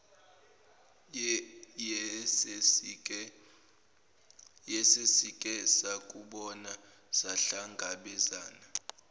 yesesike sakubona sahlangabezana